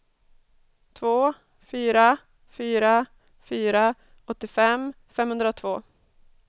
två fyra fyra fyra åttiofem femhundratvå